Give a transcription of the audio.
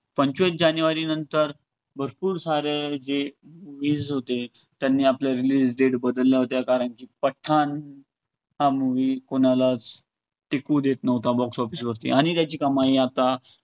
पंचवीस जानेवारीनंतर भरपूर सारे जे होते, त्यांनी आपल्या release date बदल्या होत्या कारण की पठाण हा movie कोणालाच टिकू देत न्हवता box office वरती आणि त्याची कमाई आता